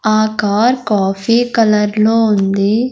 ఆ car coffee colour లో ఉంది.